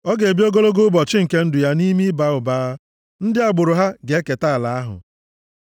Ọ ga-ebi ogologo ụbọchị nke ndụ ya nʼime ịba ụba, ndị agbụrụ ha ga-eketa ala ahụ.